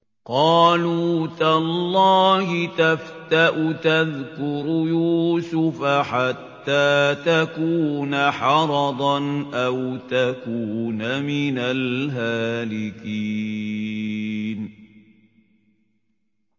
قَالُوا تَاللَّهِ تَفْتَأُ تَذْكُرُ يُوسُفَ حَتَّىٰ تَكُونَ حَرَضًا أَوْ تَكُونَ مِنَ الْهَالِكِينَ